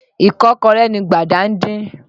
Ìkọ́kọrẹ́ ni Gbàdà ń din.